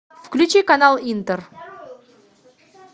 включи канал интер